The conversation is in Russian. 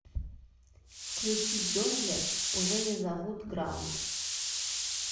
включи джунгли уже не зовут граунд